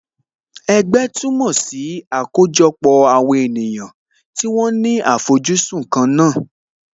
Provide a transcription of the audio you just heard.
Ẹgbẹ́ túmọ̀ sí àkójọpọ̀ àwọn ènìyàn tí wọ́n ní àfojúsùn kan náà